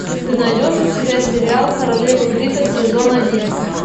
ты найдешь у себя сериал королевы крика сезон один